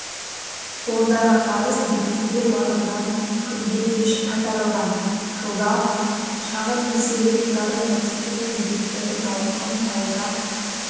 ондағы қарыз бекітілген уақытынан күнге кеш қайтарылған жылда шағын несие ұйымдары токсинді кредиттердің ауқымын пайызға